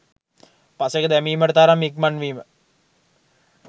පසෙක දැමීමට තරම් ඉක්මන් වීම